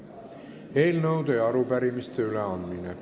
Eelnõude ja arupärimiste üleandmine.